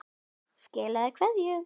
Skilaðu kveðju!